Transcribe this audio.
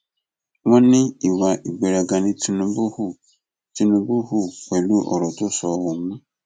wọn ní ìwà ìgbéraga ni tìtúbù hù tìtúbù hù pẹlú ọrọ tó sọ ohun